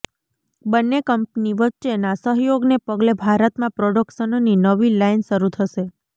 બંને કંપની વચ્ચેના સહયોગને પગલે ભારતમાં પ્રોડક્શનની નવી લાઇન શરૂ થશે